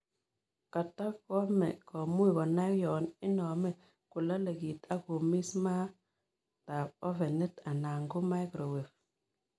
Katacahame komuch konai yon iname kolale kiit ak komis maaap ovenit alan ko microwave